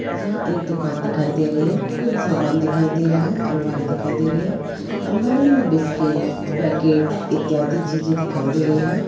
यह एक दुकान दिखाई दे रही है कुछ सामान दिखाई दे रहा है अलमारी दिखाई दे रही है अलबारी में बिस्किट पैकेट इत्यदि चीजे दिखाई दे रही हैं।